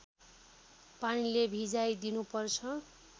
पानीले भिजाइ दिनुपर्छ